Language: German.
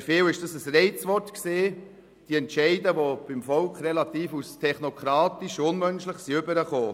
Für viele war das ein Reizwort, und die Entscheide sind beim Volk als relativ technokratisch und unmenschlich herübergekommen.